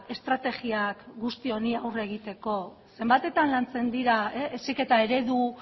estrategiak guzti honi aurre egiteko zenbatetan lantzen dira heziketa eredu